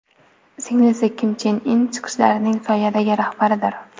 Singlisi Kim Chen In chiqishlarining soyadagi rahbaridir.